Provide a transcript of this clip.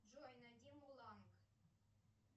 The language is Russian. джой найди мулан